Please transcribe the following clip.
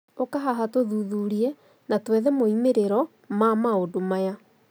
Ũka haha tũthuthurie na tũethe moimĩrĩro ma maũndũmaya